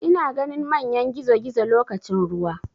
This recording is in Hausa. Ina ganin manyan gizogizo lokacin ruwa.